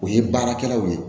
O ye baarakɛlaw ye